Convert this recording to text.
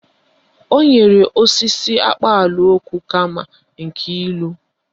O nyere ọsịsa akpaalaokwu kama nke ilu